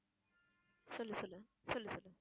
சொல்லு சொல்லு சொல்லு சொல்லு